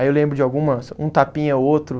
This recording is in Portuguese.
Aí eu lembro de alguma, um tapinha ou outro.